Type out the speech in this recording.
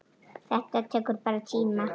Þetta tekur bara tíma.